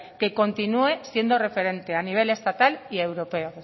que continúe siendo referente a nivel estatal y a europeo